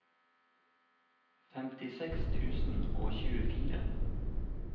femtiseks tusen og tjuefire